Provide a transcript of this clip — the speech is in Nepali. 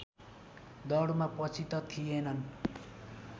दौडमा पछि त थिएनन्